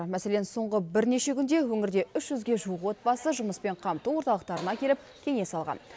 мәселен соңғы бірнеше күнде өңірде үш жүзге жуық отбасы жұмыспен қамту орталықтарына келіп кеңес алған